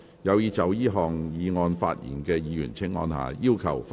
有意就這項議案發言的議員請按下"要求發言"按鈕。